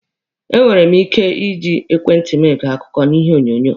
E nwekwere mụ ike iji ekwentị mụ ege akụkọ na ihe onyonyo.